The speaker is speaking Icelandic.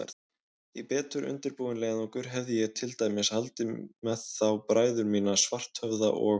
Í betur undirbúinn leiðangur hefði ég til dæmis haldið með þá bræður mína, Svarthöfða og